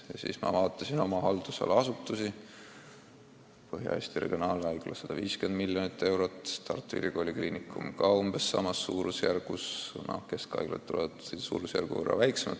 Ja siis ma vaatasin oma haldusala asutusi: Põhja-Eesti Regionaalhaigla eelarve on 150 miljonit eurot, Tartu Ülikooli Kliinikumi oma samas suurusjärgus, keskhaiglate omad suurusjärgu võrra väiksemad.